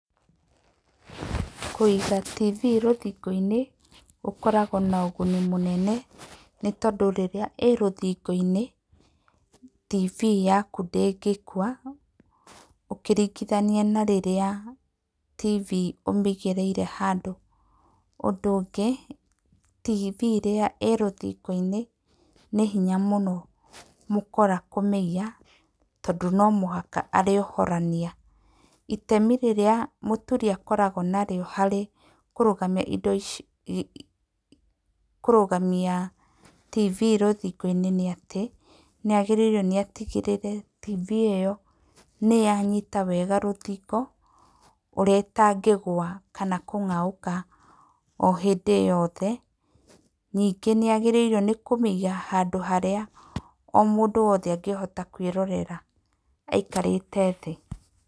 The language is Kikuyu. Kũiga TV rũthingo-inĩ gũkoragwo na ũguni mũnene tondũ rĩrĩa ĩĩ rũthingo-inĩ TV yaku ndĩngĩkua ũkĩringithania na rĩrĩa TV ũmĩigĩrĩire handũ. Ũndũ ũngĩ, TV rĩrĩa ĩĩ rũthingo-inĩ nĩ hinya mũno mũkora kũmĩiya tondũ no nginya arĩmĩohorania. Itemi rĩrĩa mũturi akoragwo narĩo harĩ kũrũgamia indo ico kũrũgamia TV rũthingo-inĩ nĩ atĩ nĩ agĩrĩirwo nĩ atigĩrĩre TV ĩyo nĩ yanyita wega rũthingo ũrĩa ĩtangĩgwa kana kũngaũka hĩndĩ yothe. Ningĩ nĩ agĩrĩirwo nĩ kũmĩiga handũ harĩa o mũndũ wothe angĩhota kwĩrorera aikarĩte thĩ.